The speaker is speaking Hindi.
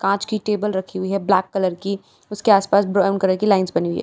कांच की टेबल रखी हुई है ब्लैक कलर की उसके आसपास ब्राउन कलर की लाइंस बनी हुई है।